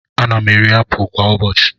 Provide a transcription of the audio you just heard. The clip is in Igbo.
Ana m eri apụl kwa ụbọchị.